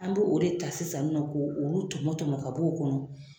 An bɛ o de ta sisan nɔ ko olu tɔmɔ tɔmɔ ka bɔ o kɔnɔ